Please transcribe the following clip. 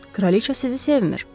kraliçə sizi sevmir.